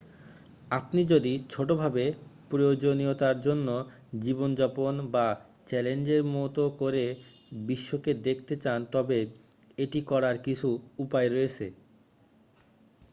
আপনি যদি ছোট ভাবে প্রয়োজনীয়তার জন্য জীবনযাপন বা চ্যালেঞ্জের মতো করে বিশ্বকে দেখতে চান তবে এটি করার কিছু উপায় রয়েছে